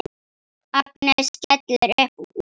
Agnes skellir upp úr.